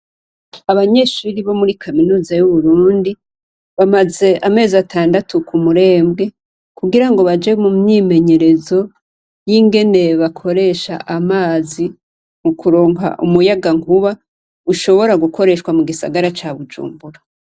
Abanyeshuri bo muri kaminuza y' Uburundi, bamaze amezi atandatu ku Murembwe, kugirango baje mu myimenyerezo y'ingene bakoresha amazi, mu kuronka umuyagankuba, ushobora gukoreshwa mu gisagara ca Bujumbura.